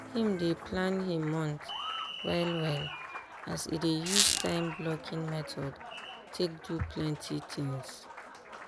him dey plan him month well well as e dey use time blocking method take do plenty things.